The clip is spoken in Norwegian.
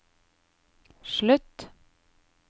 slutt